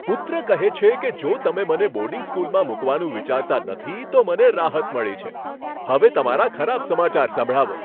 પુત્ર કહે છે કે, જો તમે મને બોર્ડિંગ સ્કૂલમાં મૂકવાનું વિચારતાં નથી, તો મને રાહત મળી છે. હવે તમારા ખરાબ સમાચાર સંભળાવો.